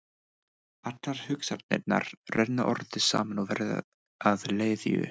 Allar hugsanirnar renna orðið saman og verða að leðju.